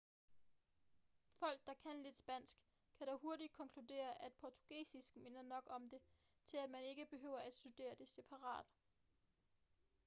folk der kan lidt spansk kan dog hurtigt konkludere at portugisisk minder nok om det til at man ikke behøver at studere det separat